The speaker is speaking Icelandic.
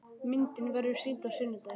Myndin verður sýnd á sunnudaginn.